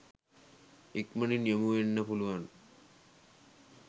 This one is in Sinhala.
ඉක්මණින් යොමුවෙන්න පුළුවන්